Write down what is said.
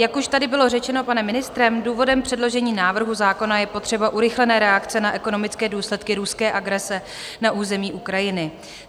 Jak už tady bylo řečeno panem ministrem, důvodem předložení návrhu zákona je potřeba urychlené reakce na ekonomické důsledky ruské agrese na území Ukrajiny.